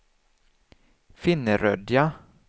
Finnerödja